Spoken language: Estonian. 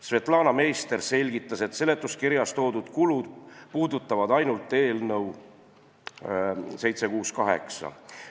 Svetlana Meister selgitas, et seletuskirjas märgitud kulud puudutavad ainult eelnõu 768.